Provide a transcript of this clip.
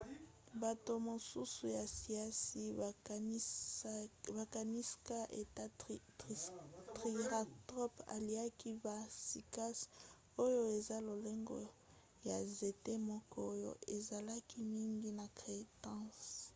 bato mosusu ya siansi bakaniska ete triceratops aliaki ba cycas oyo eza lolenge ya nzete moko oyo ezalaki mingi na crétacé